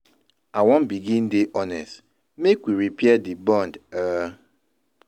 I wan begin dey honest make we repair di bond. um